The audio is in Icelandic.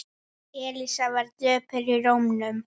Elísa var döpur í rómnum.